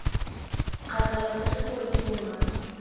kgathalesege gore ke bo mang